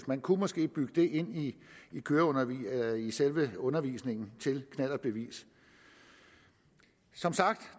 man kunne måske bygge det ind i selve undervisningen til knallertbevis som sagt